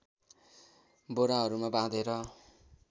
बोराहरूमा बाँधेर